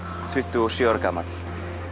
tuttugu og sjö ára gamall